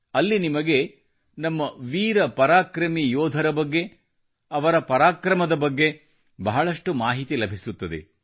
ಅಲ್ಲಿ ನಿಮಗೆ ನಮ್ಮ ವೀರ ಪರಾಕ್ರಮಿ ಯೋಧರ ಬಗ್ಗೆ ಅವರ ಪರಾಕ್ರಮದ ಬಗ್ಗೆ ಬಹಳಷ್ಟು ಮಾಹಿತಿ ಲಭಿಸುತ್ತದೆ